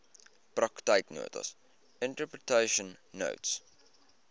praktyknotas interpretation notes